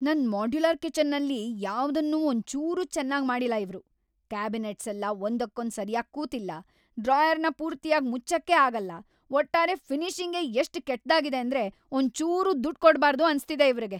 ನನ್‌ ಮಾಡ್ಯುಲರ್‌ ಕಿಚನ್ನಲ್ಲಿ ಯಾವ್ದನ್ನೂ ಒಂಚೂರೂ ಚೆನ್ನಾಗ್‌ ಮಾಡಿಲ್ಲ ಇವ್ರು. ಕ್ಯಾಬಿನೆಟ್ಸೆಲ್ಲ ಒಂದಕ್ಕೊಂದ್ ಸರ್ಯಾಗ್‌ ಕೂತಿಲ್ಲ,‌ ಡ್ರಾಯರ್‌ನ ಪೂರ್ತಿಯಾಗ್ ಮುಚ್ಚಕ್ಕೇ ಆಗಲ್ಲ, ಒಟ್ಟಾರೆ ಫಿನಿಷಿಂಗೇ ಎಷ್ಟ್ ಕೆಟ್ದಾಗಿದೆ‌ ಅಂದ್ರೆ ಒಂಚೂರೂ ದುಡ್ಡ್‌ ಕೊಡ್ಬಾರ್ದು ಅನ್ಸ್ತಿದೆ ಇವ್ರಿಗೆ.